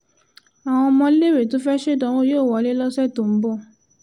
àwọn ọmọléèwé tó fẹ́ẹ́ ṣèdánwò yóò wọlé lọ́sẹ̀ tó ń bọ̀